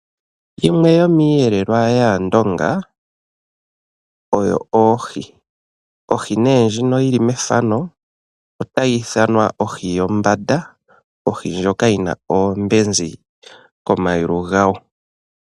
Yimwe yomiiyelwa yaandonga oyo oohi. Ohi nee ndjino yili methano otyi ithanwa ohi yombanda ohi ndjoka yina oombezi ko mayulu gayo.